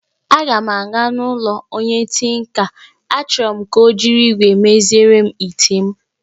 Aga m aga n'ụlọ ọrụ onye tinka, achoro m ka ọ jiri igwé meziere m ite m